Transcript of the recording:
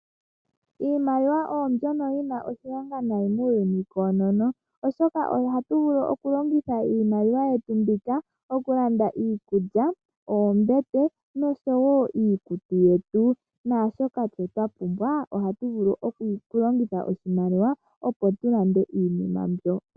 Iimaliwa oyo mbyono yina oshilonga nayi muuyuni wonena oshoka ohatu vulu oku longitha iimaliwa yetu mbika okulanda iikulya, oombete noshowo iikutu yetu naashoka tuu twapumbwa ohatu vulu okulongitha oshimaliwa opo tulande iinima mbyoka.